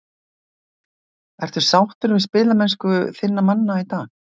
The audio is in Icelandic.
Ertu sáttur við spilamennsku þinna manna í dag?